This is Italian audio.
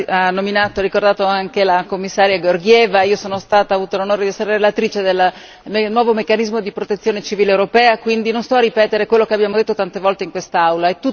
Ha nominato anche la Commissaria Georgieva. Io ho avuto l'onore di essere relatrice del nuovo meccanismo di protezione civile europea, quindi non sto a ripetere quello che abbiamo detto tante volte in quest'Aula.